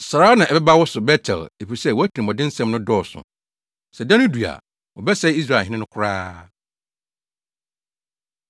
Saa ara na ɛbɛba wo so, Bet-El, efisɛ wʼatirimɔdensɛm no dɔɔso. Sɛ da no du a, Wɔbɛsɛe Israelhene no koraa.